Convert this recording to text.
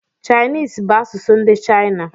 Chinese bú asụsụ ndị China